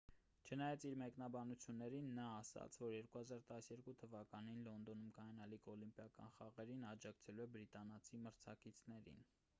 չնայած իր մեկնաբանություններին նա ասաց որ 2012 թվականին լոնդոնում կայանալիք օլիմպիական խաղերին աջակցելու է բրիտանացի մրցակիցներին